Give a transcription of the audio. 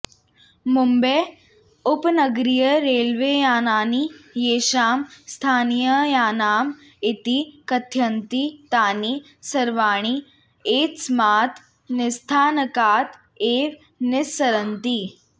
मुम्बै उपनगरीयरेल्वेयानानि येषां स्थानीययानम् इति कथयन्ति तानि सर्वाणि एतस्मात् निस्थानकात् एव निस्सरन्ति